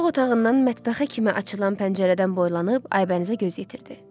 Yataq otağından mətbəxə kimi açılan pəncərədən boylanıb Aybənizə göz yetirdi.